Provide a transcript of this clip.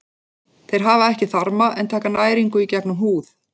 Þeir hafa ekki þarma en taka næringu í gegnum húð.